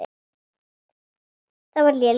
Það var léleg lygi.